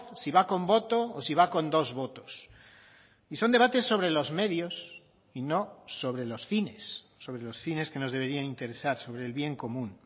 si va con voto o si va con dos votos y son debates sobre los medios y no sobre los fines sobre los fines que nos deberían interesar sobre el bien común